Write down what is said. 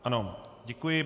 Ano, děkuji.